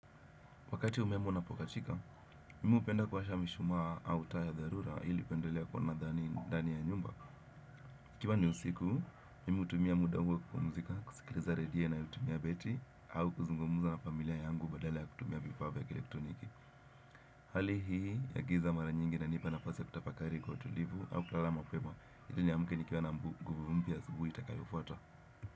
Wakati umeme unapokatika, mimi upenda kuwasha mishumaa au taa ya dharura kuendelea kuwa na dhani ndani ya nyumba. Ikiwa ni usiku, mimi utumia muda huo wa kupumzika, kusikiliza redio inayo tumia betri, au kuzungumuza na familia yangu badala ya kutumia vifaa vya kielektroniki. Hali hii ya giza mara nyingi inanipa nafasi kutafakari kwa utulivu au kulala mapema. Iliniamke nikiwa nguvu mpya, asubuhi itakayofuata.